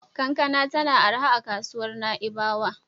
Kankana tana arha a kasuwar Na'ibawa.